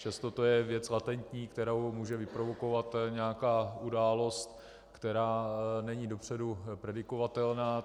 Přesto to je věc latentní, kterou může vyprovokovat nějaká událost, která není dopředu predikovatelná.